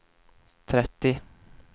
trettio